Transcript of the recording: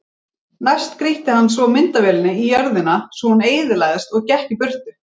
Næst grýtti hann svo myndavélinni í jörðina svo hún eyðilagðist og gekk í burtu.